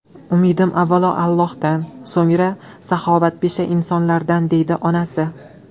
Umidim avvalo Allohdan, so‘ngra saxovatpesha insonlardan”, deydi onasi.